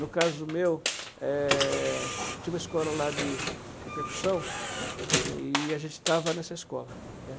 No caso meu, eh, tinha uma escola lá de de percussão, né, e a gente estava nessa escola, né.